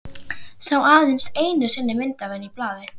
Sá aðeins einu sinni mynd af henni í blaði.